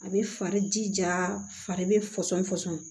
A bɛ fari jija fari bɛ fɔsɔn fɔsɔn